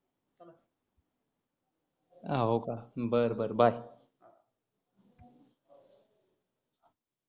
हाव का? बरं बरं bye